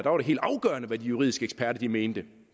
var helt afgørende hvad de juridiske eksperter mente